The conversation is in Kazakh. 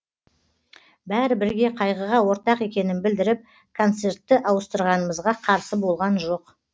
бәрі бірге қайғыға ортақ екенін білдіріп концертті ауыстырғанымызға қарсы болған жоқ